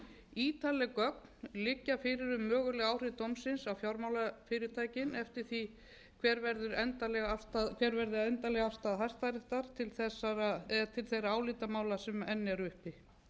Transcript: ítarleg gögn liggja fyrir um möguleg áhrif dómsins á fjármálafyrirtækin eftir því hver verður endanleg afstaða hæstaréttar til þeirra álitamála sem enn eru uppi